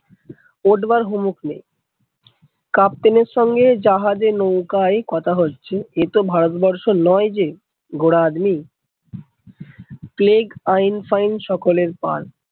কতবার captain এর সঙ্গে জাহাজ এ নৌকায় কথা হচ্ছে, এ তো ভারতবর্ষ নয় যে ঘোড়া আদমি, প্লেগ আইন ফাইন সকলের পর